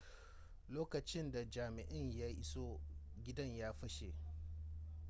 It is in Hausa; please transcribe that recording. lokacin da jami'in ya iso gidan ya fashe